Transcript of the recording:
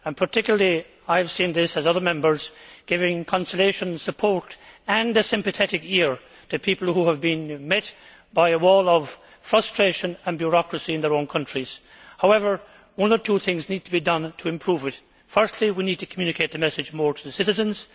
I, along with other Members, have seen it provide consolation, support and a sympathetic ear to people who have been met by a wall of frustration and bureaucracy in their own countries. However, one or two things need to be done to improve it first, we need to communicate the message more to the citizens